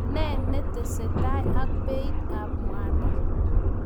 Ne netesetai ak beit ab mwanik?